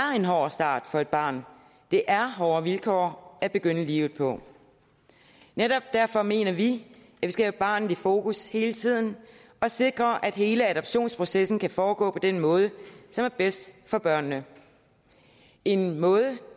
en hård start for et barn det er hårde vilkår at begynde livet på netop derfor mener vi skal have barnet i fokus hele tiden og sikre at hele adoptionsprocessen kan foregå på den måde som er bedst for børnene en måde